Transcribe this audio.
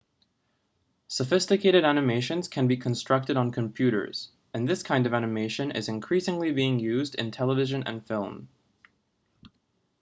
sophisticated animations can be constructed on computers and this kind of animation is increasingly being used in television and films